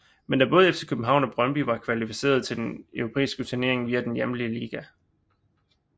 Men da både FC København og Brøndby var kvalificerede til en europæisk turnering via den hjemlige liga